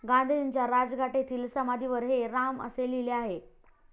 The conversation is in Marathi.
गांधीजींच्या राजघाट येथील समाधीवर 'हे राम' असे लिहिले आहे.